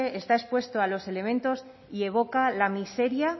está expuesto a los elementos y evoca la miseria